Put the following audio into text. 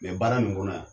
baara nin kɔnɔ yan